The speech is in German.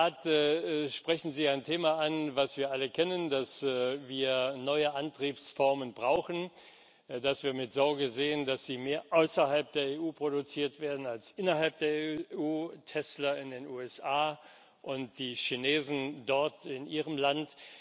In der Tat sprechen Sie ein Thema an, das wir alle kennen, dass wir neue Antriebsformen brauchen, dass wir mit Sorge sehen, dass sie mehr außerhalb der EU produziert werden als innerhalb der EU Tesla in den USA und die Chinesen dort in ihrem Land.